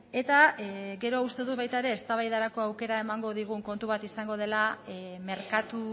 eta gero uste dut baita ere eztabaidarako aukera emango digun kontu bat izango dela merkatu